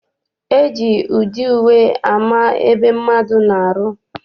E ji ụdị uwe ama ebe mmadụ na-arụ.